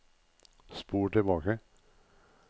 spol tilbake